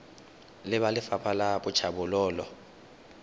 le ba lefapha la tlhabololo